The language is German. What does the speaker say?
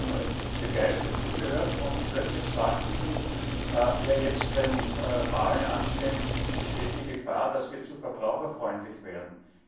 Ich habe Ihnen begeistert zugehört und plötzlich sagten Sie Jetzt, wenn Wahlen anstehen, besteht die Gefahr, dass wir zu verbraucherfreundlich werden.